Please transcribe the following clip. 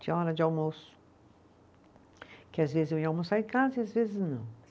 Tinha hora de almoço, que às vezes eu ia almoçar em casa e às vezes não.